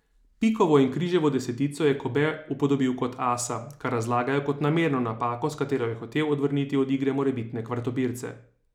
Pikovo in križevo desetico je Kobe upodobil kot asa, kar razlagajo kot namerno napako, s katero je hotel odvrniti od igre morebitne kvartopirce.